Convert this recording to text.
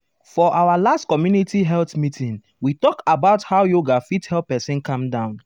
for our last community health meeting we talk about how yoga fit help person calm down.